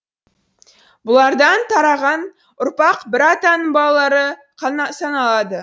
бұлардан тараған ұрпақ бір атаның балалары саналады